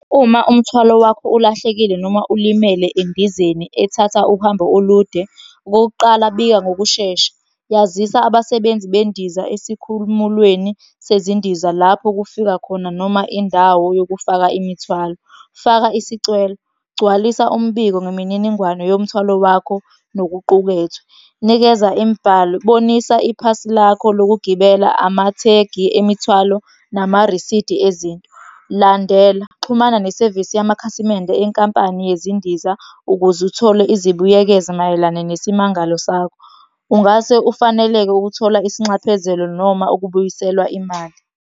Uma umthwalo wakho ulahlekile noma ulimele endizeni ethatha uhambo olude, okokuqala, bika ngokushesha. Yazisa abasebenzi bendiza esikhumulweni sezindiza lapho kufika khona noma indawo yokufaka imithwalo. Faka isicelo, gcwalisa umbiko ngemininingwane yomthwalo wakho nokuqukethwe. Nikeza imibhalo, bonisa iphasi lakho lokugibela, amathegi emithwalo, namarisidi ezinto. Landela, xhumana nesevisi yamakhasimende enkampani yezindiza ukuze uthole izibuyekezo mayelana nesimangalo sakho. Ungase ufaneleke ukuthola isinxephezelo noma ukubuyiselwa imali.